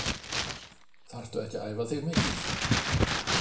Þarftu ekki að æfa þig mikið?